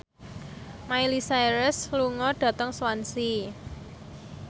Miley Cyrus lunga dhateng Swansea